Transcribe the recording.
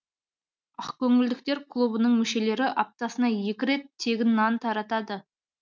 ақкөңілділер клубының мүшелері аптасына екі рет тегін нан таратады